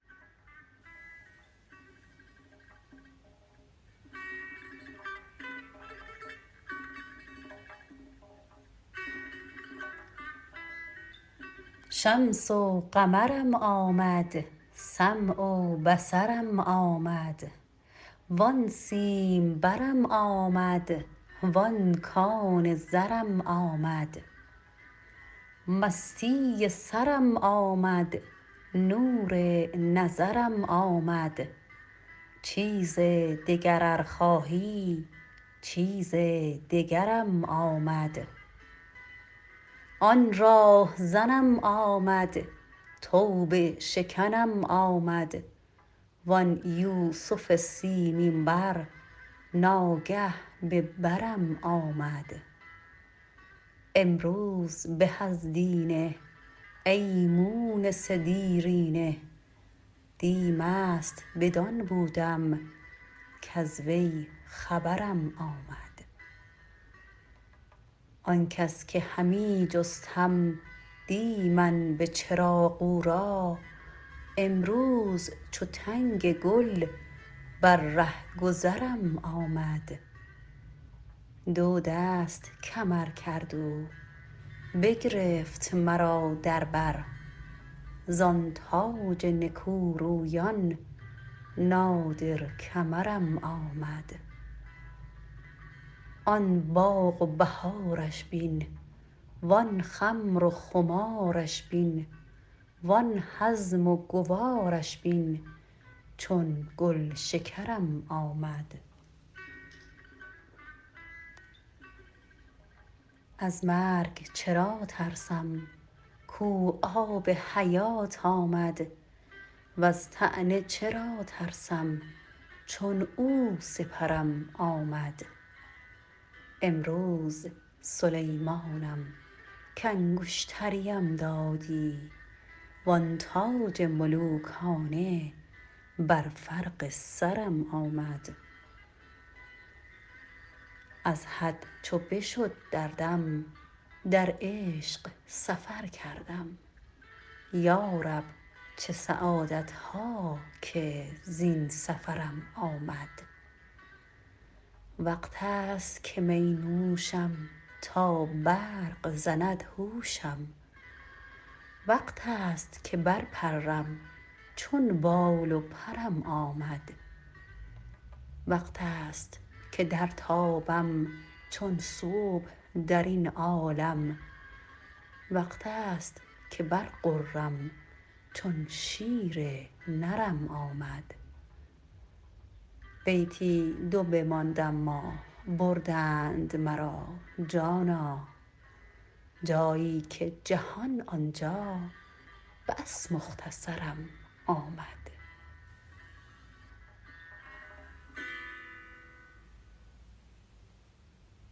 شمس و قمرم آمد سمع و بصرم آمد وان سیمبرم آمد وان کان زرم آمد مستی سرم آمد نور نظرم آمد چیز دگر ار خواهی چیز دگرم آمد آن راه زنم آمد توبه شکنم آمد وان یوسف سیمین بر ناگه به برم آمد امروز به از دینه ای مونس دیرینه دی مست بدان بودم کز وی خبرم آمد آن کس که همی جستم دی من به چراغ او را امروز چو تنگ گل بر ره گذرم آمد دو دست کمر کرد او بگرفت مرا در بر زان تاج نکورویان نادر کمرم آمد آن باغ و بهارش بین وان خمر و خمارش بین وان هضم و گوارش بین چون گلشکرم آمد از مرگ چرا ترسم کو آب حیات آمد وز طعنه چرا ترسم چون او سپرم آمد امروز سلیمانم کانگشتریم دادی وان تاج ملوکانه بر فرق سرم آمد از حد چو بشد دردم در عشق سفر کردم یا رب چه سعادت ها که زین سفرم آمد وقتست که می نوشم تا برق زند هوشم وقتست که برپرم چون بال و پرم آمد وقتست که درتابم چون صبح در این عالم وقتست که برغرم چون شیر نرم آمد بیتی دو بماند اما بردند مرا جانا جایی که جهان آن جا بس مختصرم آمد